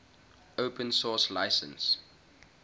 open source license